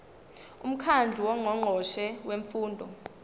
umkhandlu wongqongqoshe bemfundo